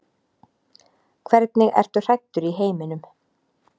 Hvernig ertu hræddur í heiminum?